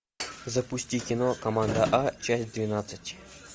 запусти кино команда а часть двенадцать